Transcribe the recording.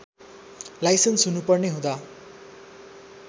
licence हुनुपर्ने हुँदा